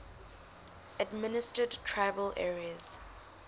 administered tribal areas